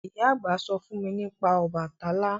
Ìyá àgbà sọ fún nípa Ọbàtálá